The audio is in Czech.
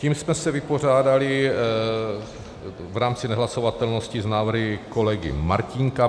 Tím jsme se vypořádali v rámci nehlasovatelnosti s návrhy kolegy Martínka.